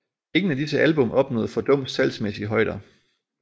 Ingen af disse album opnåede fordums salgsmæssige højder